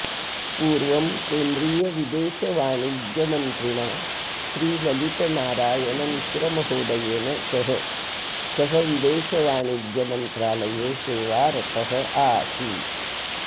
पूर्वं केन्द्रीयविदेशवाणिज्यमन्त्रिणा श्रीललितनारायणमिश्रमहोदयेन सह सः विदेशवाणिज्यमन्त्रालये सेवारतः आसीत्